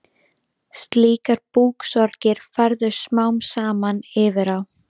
Slíkar búksorgir færðust smám saman yfir á